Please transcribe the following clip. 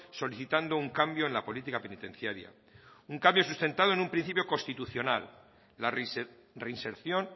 solicitando un cambio en la política penitenciaria un cambio sustentado en un principio constitucional la reinserción